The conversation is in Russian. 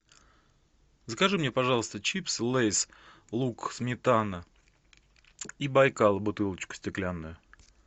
закажи мне пожалуйста чипсы лейс лук сметана и байкал бутылочку стеклянную